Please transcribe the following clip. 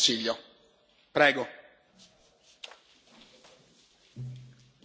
Mr President, honourable Members, Commissioner,